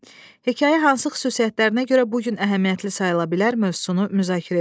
Hekayə hansı xüsusiyyətlərinə görə bu gün əhəmiyyətli sayıla bilər mövzusunu müzakirə edin.